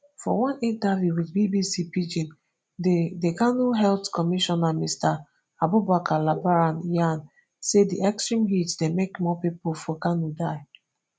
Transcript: for one interview wit bbc pidgin di di kano health commissioner mr abubakar labaran yan say di extreme heat dey make more pipo for kano die